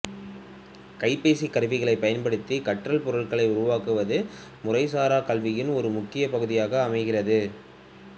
கைபேசிக்கருவிகளைப் பயன்படுத்திக் கற்றல் பொருள்களை உருவாக்குவது முறைசாராக் கல்வியின் ஒரு முக்கியப் பகுதியாக அமைகிறது